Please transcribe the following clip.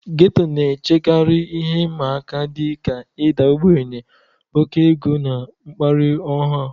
Getto na-echekarị ihe ịma aka dị ka ịda ogbenye, oke ego, na mkparị ọha.